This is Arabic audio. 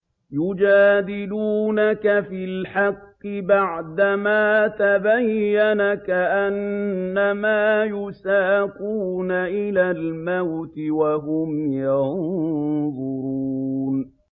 يُجَادِلُونَكَ فِي الْحَقِّ بَعْدَمَا تَبَيَّنَ كَأَنَّمَا يُسَاقُونَ إِلَى الْمَوْتِ وَهُمْ يَنظُرُونَ